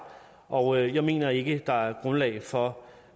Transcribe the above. og jeg mener ikke der er grundlag for